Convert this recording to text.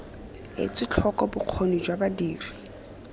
etswe tlhoko bokgoni jwa badiri